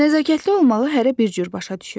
Nəzakətli olmağı hərə bir cür başa düşür.